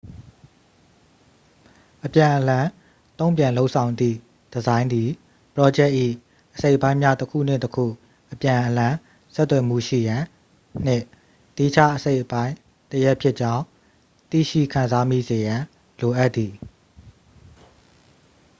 အပြန်အလှန် တု့န်ပြန်လုပ်ဆောင်သည့် ဒီဇိုင်းသည် ပရောဂျက်၏ အစိတ်အပိုင်းများ တစ်ခုနှင့် တစ်ခု အပြန်အလှန် ဆက်သွယ်မှုရှိရန်နှင့် သီးခြားအစိတ်အပိုင်းတစ်ရပ်ဖြစ်ကြောင်း သိရှိခံစားမိစေရန် လိုအပ်သည်